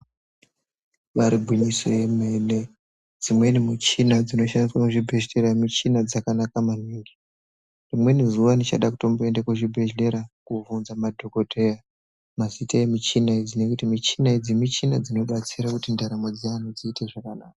Ibari gwinyiso yemene, dzimweni muchina dzinoshandiswa muzvibhedhlera michina dzakanaka maningi. Rimweni zuwa ndichada kutomboende kuzvibhedhlera, kobvunza madhokoteya mazita emichina idzi, nekuti michina idzi michina dzinobatsira kuti ndaramo dzeantu dziite zvakanaka.